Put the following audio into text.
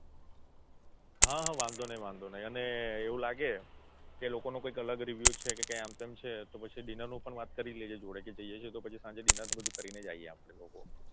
હા વાંધો નઈ વાંધો નઈ અને એવું લાગે કે લોકોનો કંઈક અલગ review છે કે કંઈક આમ તેમ છે તો પછી dinner નું પણ વાત તો કરી જ લેજે જોડે જઈએ છીએ તો પછી સાંજે dinner બધું કરીને જ આવીએ આપણે લોકો.